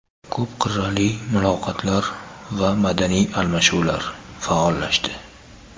Ko‘p qirrali muloqotlar va madaniy almashinuvlar faollashdi.